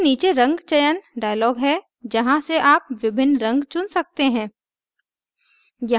इसके नीचे रंग चयन dialog है जहाँ से आप विभिन्न रंग चुन सकते हैं